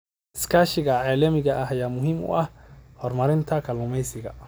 Iskaashiga caalamiga ah ayaa muhiim u ah horumarinta kalluumeysiga.